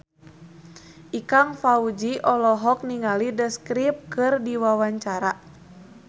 Ikang Fawzi olohok ningali The Script keur diwawancara